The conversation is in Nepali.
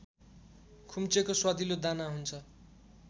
खुम्चेको स्वादिलो दाना हुन्छ